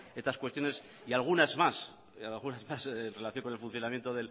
estas cuestiones y algunas más en relación con el funcionamiento